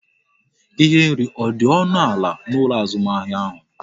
Ihe nri ọ dị ọnụ ala n'ụlọ azụmahịa ahụ?